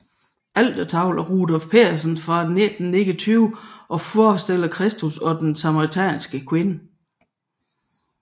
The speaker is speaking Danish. Altertavlen er af Rudolf Pedersen 1929 og forestiller Kristus og den samaritanske kvinde